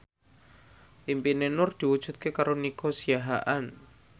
impine Nur diwujudke karo Nico Siahaan